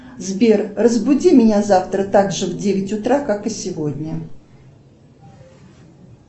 сбер разбуди меня завтра так же в девять утра как и сегодня